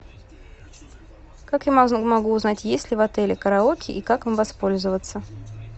как я могу узнать есть ли в отеле караоке и как им воспользоваться